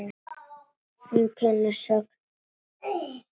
Hún kennir söng.